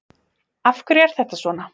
Af hverju er þetta svona?